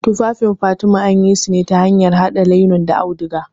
Tufafin fatima anyisune ta hanyar haɗa lainen da auduga.